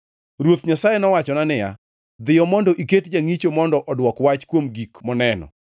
Ruoth Nyasaye wachona niya, “Dhiyo mondo iket jangʼicho mondo odwok wach kuom gik moneno.